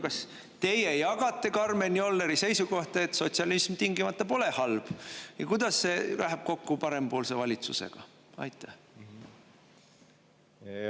Kas teie jagate Karmen Jolleri seisukohta, et sotsialism tingimata pole halb, ja kuidas see läheb kokku parempoolse valitsusega?